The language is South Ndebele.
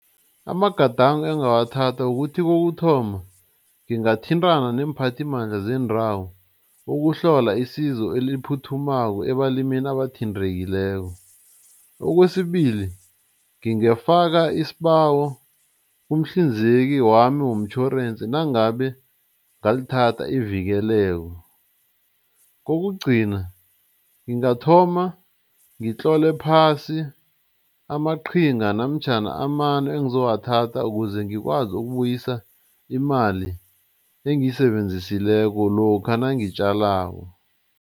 Amagadango engawathatha kukuthi kokuthoma, ngingathintana neemphathimandla zendawo ukuhlola isizo eliphuthumako ebalimini abathintekileko. Okwesibili, ngingafaka isibawo kumhlinzeki wami womtjhorensi nangabe ngalithatha ivikeleko. Kokugcina, ngingathoma ngitlole phasi amaqhinga namtjhana amano engizowathatha ukuze ngikwazi ukubuyisa imali engiyisebenzisileko lokha nangitjalako.